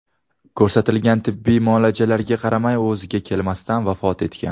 Ko‘rsatilgan tibbiy muolajalarga qaramay u o‘ziga kelmasdan vafot etgan.